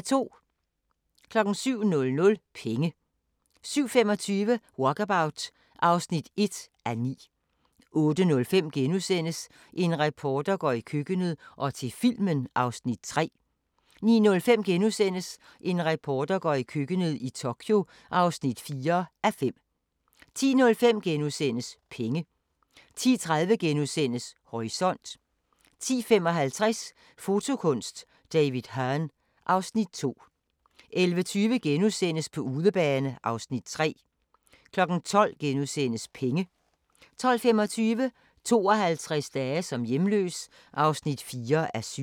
07:00: Penge 07:25: Walkabout (1:9) 08:05: En reporter går i køkkenet – og til filmen (3:5)* 09:05: En reporter går i køkkenet – i Tokyo (4:5)* 10:05: Penge * 10:30: Horisont * 10:55: Fotokunst: David Hurn (Afs. 2) 11:20: På udebane (Afs. 3)* 12:00: Penge * 12:25: 52 dage som hjemløs (4:7)